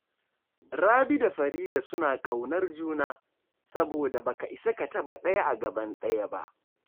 Rabi da Farida suna ƙaunar juna, saboda ba ka isa ka taɓa ɗaya a gaban ɗayan ba